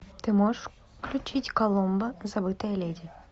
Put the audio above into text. ты можешь включить коломбо забытая леди